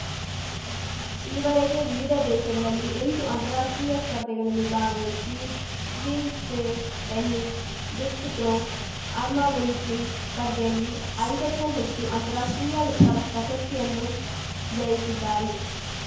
ಈವರೆಗೆ ವಿವಿಧ ದೇಶಗಲಲ್ಲಿ ಎಂಟು ಅಂತಾರಾಷ್ಟ್ರೀಯ ಸ್ಪರ್ಧೆಗಲಲ್ಲಿ ಭಾಗವಹಿಸಿ ವ್ಹೀಲ್‌ಚೇ ಟೆನ್ನಿಸ್‌ಡಿಸ್ಕ್ ಥ್ರೋ ಆರ್ಮವ್ರೆನ್ಸ್ಲಿಂಗ್‌ ಸ್ಪರ್ಧೆಯಲ್ಲಿ ಐದಕ್ಕೂ ಹೆಚ್ಚು ಅಂತಾರಾಷ್ಟ್ರೀಯ ಪ್ರ ಪ್ರಶಸ್ತಿಯನ್ನು ಜಯಿಸಿದ್ದಾರೆ